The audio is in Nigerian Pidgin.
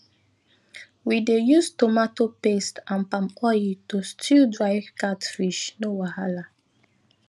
we dey use tomato paste and palm oil to stew dry catfish no wahala